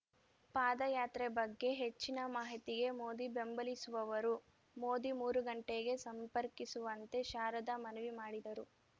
ಪಾದಯಾತ್ರೆ ಬಗ್ಗೆ ಹೆಚ್ಚಿನ ಮಾಹಿತಿಗೆ ಮೋದಿ ಬೆಂಬಲಿಸಲಿಸುವವರು ಮೊದಿ ಮೂರು ಗಂಟೆಗೆ ಸಂಪರ್ಕಿಸುವಂತೆ ಶಾರದಾ ಮನವಿ ಮಾಡಿದರು